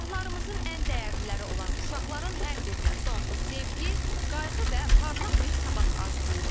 Sabahlarımızın ən dəyərliləri olan uşaqların hər birinə sonsuz sevgi, qayğı və parlaq bir sabah arzulayırıq.